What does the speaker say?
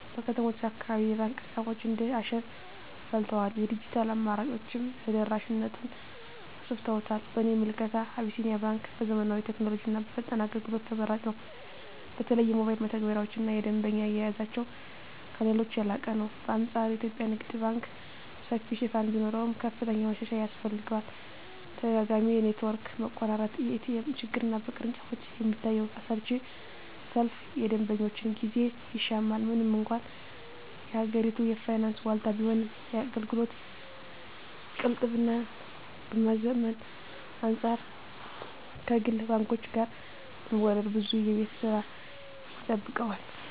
በከተሞች አካባቢ የባንክ ቅርንጫፎች እንደ አሸን ፈልተዋል፤ የዲጂታል አማራጮችም ተደራሽነቱን አሰፍተውታል። በእኔ ምልከታ አቢሲኒያ ባንክ በዘመናዊ ቴክኖሎጂና በፈጣን አገልግሎት ተመራጭ ነው። በተለይ የሞባይል መተግበሪያቸውና የደንበኛ አያያዛቸው ከሌሎች የላቀ ነው። በአንፃሩ የኢትዮጵያ ንግድ ባንክ ሰፊ ሽፋን ቢኖረውም፣ ከፍተኛ ማሻሻያ ያስፈልገዋል። ተደጋጋሚ የኔትወርክ መቆራረጥ፣ የኤቲኤም ችግርና በቅርንጫፎች የሚታየው አሰልቺ ሰልፍ የደንበኞችን ጊዜ ይሻማል። ምንም እንኳን የሀገሪቱ የፋይናንስ ዋልታ ቢሆንም፣ የአገልግሎት ቅልጥፍናን ከማዘመን አንፃር ከግል ባንኮች ጋር ለመወዳደር ብዙ የቤት ሥራ ይጠብቀዋል።